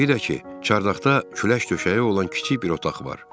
Bir də ki, çardaqda külək döşəyi olan kiçik bir otaq var.